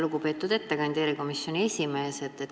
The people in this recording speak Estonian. Lugupeetud ettekandja, erikomisjoni esimees!